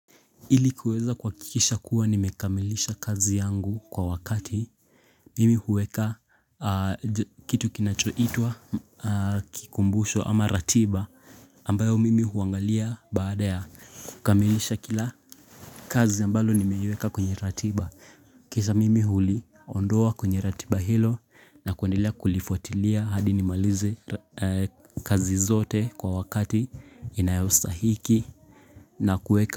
Ili kuweza kuhakikisha kuwa nimekamilisha kazi yangu kwa wakati mimi huweka kitu kinachoitwa kikumbusho ama ratiba ambayo mimi huangalia baada ya kukamilisha kila kazi ambalo nimeiweka kwenye ratiba kisha mimi huliondoa kwenye ratiba hilo na kuendelea kulifuatilia hadi nimalize kazi zote kwa wakati inayostahiki na kuweka.